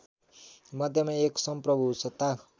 मध्यमा एक समप्रभुसत्ता